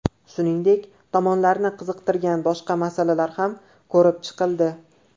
Shuningdek, tomonlarni qiziqtirgan boshqa masalalar ham ko‘rib chiqildi.